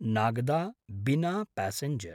Nagda-Bina passenger